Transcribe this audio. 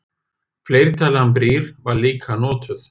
Fleirtalan brýr var líka notuð.